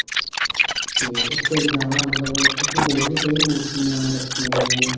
ਤੇ ਉਸ ਤੋਂ ਇਲਾਵਾ ਮਤਲਬ ਉੱਥੇ ਹੋਰ ਵੀ ਕਈ ਮੂਰਤੀਆਂ ਰੱਖੀਆਂ ਗਈਆਂ ਨੇ